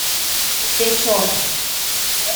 печор